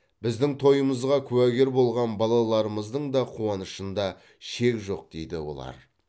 біздің тойымызға куәгер болған балаларымыздың да қуанышында шек жоқ дейді олар